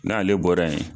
N'ale bɔra yen